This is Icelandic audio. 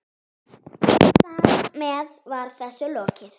Þar með var þessu lokið.